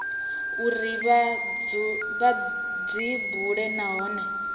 uri vha dzi bule nahone